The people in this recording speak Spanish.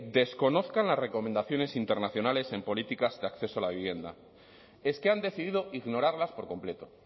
desconozcan las recomendaciones internacionales en políticas de acceso a la vivienda es que han decidido ignorarlas por completo